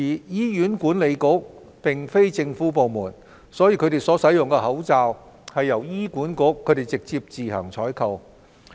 醫院管理局並非政府部門，其所使用的口罩由該局自行採購。